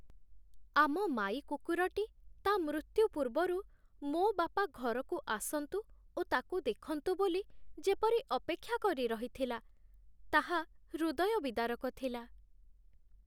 ଆମ ମାଈ କୁକୁରଟି ତା' ମୃତ୍ୟୁ ପୂର୍ବରୁ ମୋ ବାପା ଘରକୁ ଆସନ୍ତୁ ଓ ତାକୁ ଦେଖନ୍ତୁ ବୋଲି ଯେପରି ଅପେକ୍ଷା କରି ରହିଥିଲା, ତାହା ହୃଦୟ ବିଦାରକ ଥିଲା।